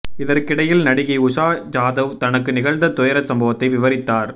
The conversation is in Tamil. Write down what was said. இதற்கிடையில் நடிகை உஷா ஜாதவ் தனக்கு நிகழ்ந்த துயர சம்பவத்தை விவரித்தார்